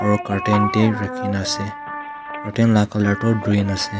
aro curtain tae rakhina ase curtain la colour toh green ase.